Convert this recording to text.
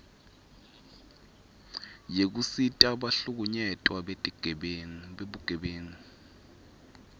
yekusita bahlukunyetwa bebugebengu